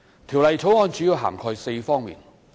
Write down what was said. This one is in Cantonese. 《條例草案》主要涵蓋4方面。